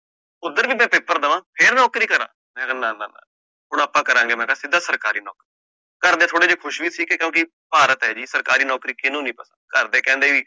ਫੇਰ ਨੌਕਰੀ ਕਰਾ ਮੈਂ ਕਹ ਨਾ - ਨਾ, ਹੁਣ ਆਪਾ ਕਰਾਂਗੇ ਮੈਂ ਕਹ ਸਿੱਧਾ ਸਰਕਾਰੀ ਨੌਕਰੀ, ਘਰ ਦੇ ਥੋੜੇ ਜੇ ਖੁਸ਼ ਵੀ ਸੀਗੇ ਕਿਉਕਿ ਭਾਰਤ ਹੈ ਜੀ, ਸਰਕਾਰੀ ਨੌਕਰੀ ਕੀਨੁ ਨੀ ਪਤਾ, ਘਰ ਦੇ ਕਹਿੰਦੇ ਵੀ